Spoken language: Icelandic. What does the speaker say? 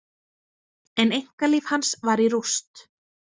En einkalíf hans var í rúst.